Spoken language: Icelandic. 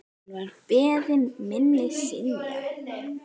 Enn var beiðni minni synjað.